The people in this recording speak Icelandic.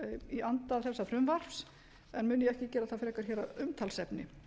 í anda þessa frumvarps en mun ég ekki gera það frekar hér að umtalsefni